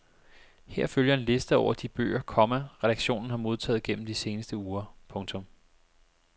Her følger en liste over de bøger, komma redaktionen har modtaget gennem de seneste uger. punktum